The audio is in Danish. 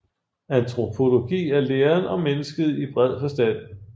Antropologi er læren om mennesket i bred forstand